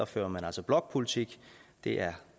fører man altså blokpolitik det er